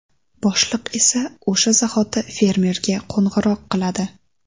Boshliq esa o‘sha zahoti fermerga qo‘ng‘iroq qiladi.